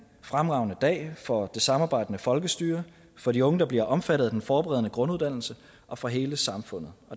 fremragende dag for det samarbejdende folkestyre for de unge der bliver omfattet af den forberedende grunduddannelse og for hele samfundet